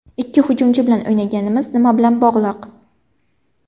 Ikki hujumchi bilan o‘ynaganimiz nima bilan bog‘liq?